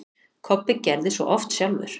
Kobbi gerði svo oft sjálfur.